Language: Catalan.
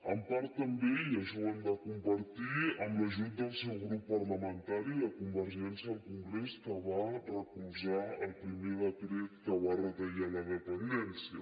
en part també i això ho hem de compartir amb l’ajut del seu grup parlamentari de convergència al congrés que va recolzar el primer decret que va retallar la dependència